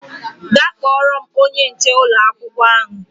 Gaa kpọọrọ m onye nche ụlọ akwụkwọ ahụ!